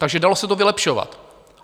Takže dalo se to vylepšovat.